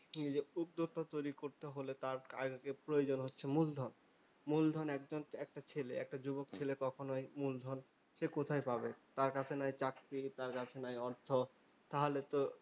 এই যে উদ্যোক্তা তৈরী করতে হলে তার আগে প্রয়োজন হচ্ছে মূলধন। মূলধন একজন একটা ছেলে, একটা যুবক ছেলে কখনোই মূলধন সে কোথায় পাবে? তার কাছে নাই চাকরি। তার কাছে নাই অর্থ। তাহলে তো